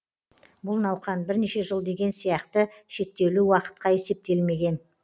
бұл науқан бірнеше жыл деген сияқты шектеулі уақытқа есептелмеген